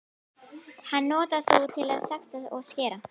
Hann notar þú til að saxa og skera.